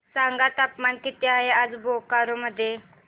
सांगा तापमान किती आहे आज बोकारो मध्ये